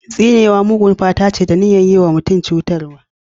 Tsinewa mugun fata ce, da niyyar yi wa mutum cutarwa.